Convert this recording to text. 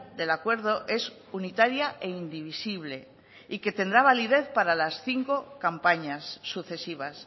del acuerdo es unitaria e indivisible y que tendrá validez para las cinco campañas sucesivas